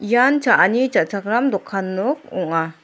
ian cha·ani cha·chakram dokan nok ong·a.